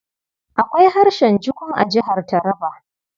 Akwai harshen Jukun a Jihar Taraba.